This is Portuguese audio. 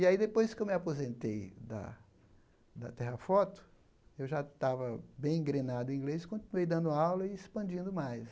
E aí depois que eu me aposentei da da Terrafoto, eu já estava bem engrenado em inglês, continuei dando aula e expandindo mais.